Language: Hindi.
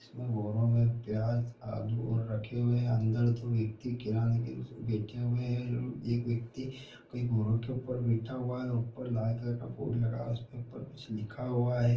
इस बोरो मैं प्याज़ आलू और रखे हुए हैं | अंदर तोह एक किराने की देखे हुए हैं एक व्यक्ति कई बोरो के ऊपर बैठा हुआ हैंऊपर लाल कलर का बोर्ड लगा हुआ हैं ऊपर कुछ लिखा हुआ हैं।